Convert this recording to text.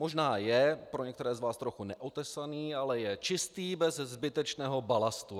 Možná je pro některé z vás trochu neotesaný, ale je čistý, bez zbytečného balastu.